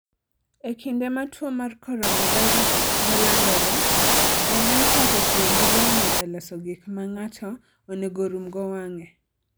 E kinde ma tuo mar coronavirus ne landore, ji ne ochako tiyo gi lewni e loso gik ma ng'ato onego orumgo wang'e.